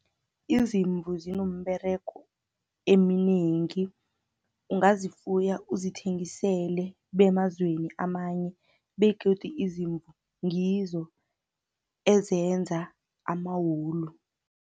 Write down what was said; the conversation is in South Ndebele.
Izimvu zinomberego eminengi ungazifuya uzithengisele bemazweni amanye, begodu izimvu ngizo ezenza amawulu.